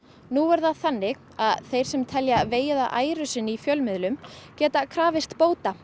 nú er það þannig að þeir sem telja vegið að æru sinni í fjölmiðlum geta krafist bóta